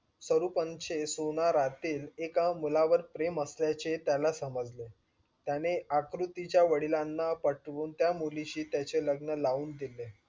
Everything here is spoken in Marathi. तरुपांचे सोनारातील एका मुलावर प्रेम असल्याचे त्याला समजले. त्याने आकृतीच्या वडिलांना पटूऊन त्या मुलीशी त्याचे लग्न लावून दिले